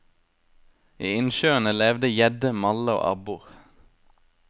I innsjøene levde gjedde, malle og abbor.